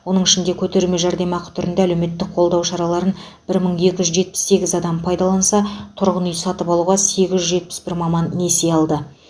оның ішінде көтерме жәрдемақы түрінде әлеуметтік қолдау шараларын бір мың екі жүз жетпіс сегіз адам пайдаланса тұрғын үй сатып алуға сегіз жүз жетпіс бір маман несие алды